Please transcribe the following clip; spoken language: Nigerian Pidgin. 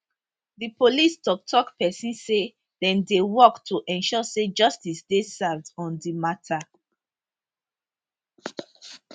di police toktok pesin say dem dey work to ensure say justice dey served on di mata